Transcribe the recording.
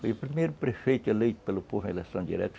Foi o primeiro prefeito eleito pelo povo na eleição direta.